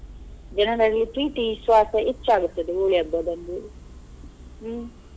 ಜನರಲ್ಲಿ ಪ್ರೀತಿ ವಿಶ್ವಾಸ ಹೆಚ್ಚಾಗುತ್ತದೆ Holi ಹಬ್ಬದಂದು ಹ್ಮ್.